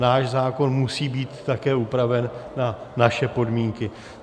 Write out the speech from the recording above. Náš zákon musí být také upraven na naše podmínky.